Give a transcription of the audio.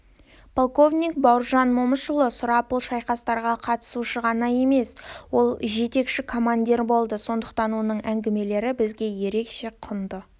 полковник бауыржан момышұлы сұрапыл шайқастарға қатысушы ғана емес ол жетекші командир болды сондықтан оның әңгімелері бізге ерекше құнды